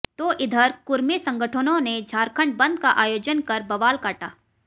तो इधर कुरमी संगठनों ने झारखंड बन्द का आयोजन कर बवाल काटा